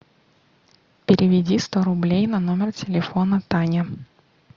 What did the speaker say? переведи сто рублей на номер телефона таня